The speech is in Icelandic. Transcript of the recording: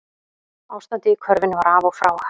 Ástandið í körfunni var af og frá